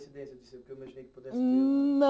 Foi uma coincidência?